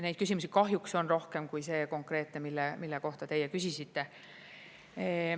Neid küsimusi kahjuks on rohkem kui see konkreetne, mille kohta teie küsisite.